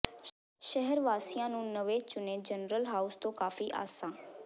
ਸ਼ਹਿਰ ਵਾਸੀਆਂ ਨੂੰ ਨਵੇਂ ਚੁਣੇ ਜਨਰਲ ਹਾਊਸ ਤੋਂ ਕਾਫੀ ਆਸਾਂ